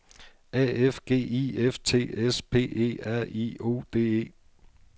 A F G I F T S P E R I O D E